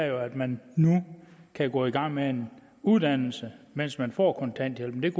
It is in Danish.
jo at man nu kan gå i gang med en uddannelse mens man får kontanthjælp men